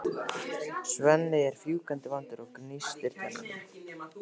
Svenni er fjúkandi vondur og gnístir tönnum.